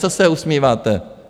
Co se usmíváte?